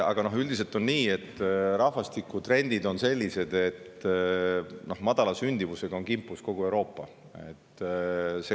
Aga üldiselt on nii, et rahvastikutrendid on sellised, et madala sündimusega on kimpus kogu Euroopa.